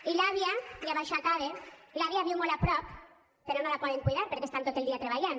i l’àvia i amb això acabe l’àvia viu molt a prop però no la poden cuidar perquè estan tot el dia treballant